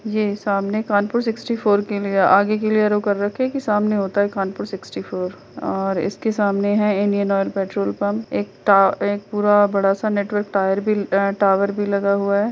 ये सामने Kanpur sixty four kilometre आगे के लिए रोक कर रखें सामने होता है कानपुर सिक्सटीफोर और इसके सामने है इंडियन ऑयल पेट्रोल पंप और एक पूरा बड़ा सा नेटवर्क टायर टावर भी लगा हुआ है।